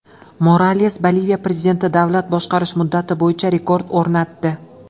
Morales Boliviya prezidenti davlat boshqarish muddati bo‘yicha rekord o‘rnatdi.